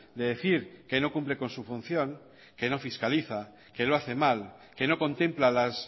de decir que no cumple con su función que no fiscaliza que lo hace mal que no contempla las